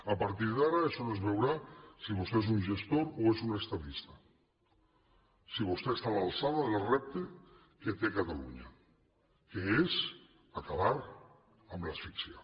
a partir d’ara es on es veurà si vostè és un gestor o és un estadista si vostè està a l’alçada del repte que té catalunya que és acabar amb l’asfíxia